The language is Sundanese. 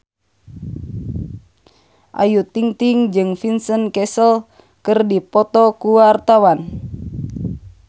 Ayu Ting-ting jeung Vincent Cassel keur dipoto ku wartawan